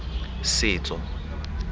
setso